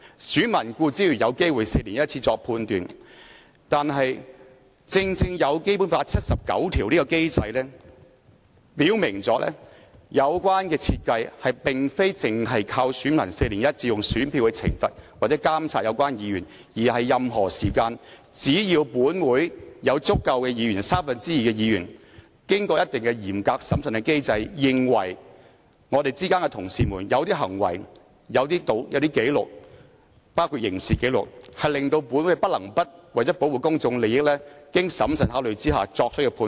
選民固然有機會每4年作出判斷，但正正因為有《基本法》第七十九條下的機制，表明有關設計並非單靠選民每4年以選票懲罰或監察有關議員，而是在任何時間只要本會有達三分之二的議員同意，便可透過嚴格審慎的機制處理當中某些同事的某些行為和紀錄，包括刑事紀錄，從而令本會不能不為了保護公眾利益而作出經審慎考慮的判斷。